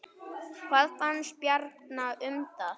Hvað fannst Bjarna um það?